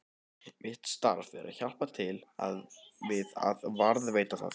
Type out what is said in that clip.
Mitt starf er að hjálpa til við að varðveita það.